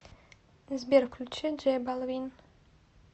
сбер включи джей балвин